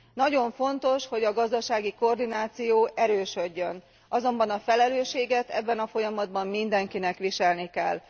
Nagyon fontos, hogy a gazdasági koordináció erősödjön, azonban a felelősséget ebben a folyamatban mindenkinek viselni kell.